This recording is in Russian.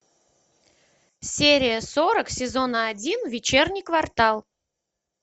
серия сорок сезона один вечерний квартал